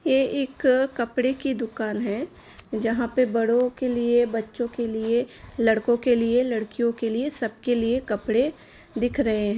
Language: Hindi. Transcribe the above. ये एक कपड़े की दुकान है जहां पर बड़ों के लिए बच्चों के लिए लड़कों के लिए लड़कियों के लिए सबके लिए कपड़े दिख रहे हैं |